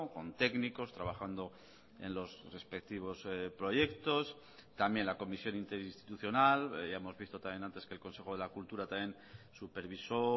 con técnicos trabajando en los respectivos proyectos también la comisión interinstitucional ya hemos visto también antes que el consejo de la cultura también supervisó